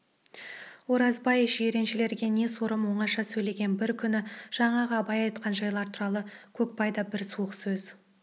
оразбай жиреншелерге не сорым оңаша сөйлеген бір күні жаңағы абай айтқан жайлар туралы көкбай да бір суық сөз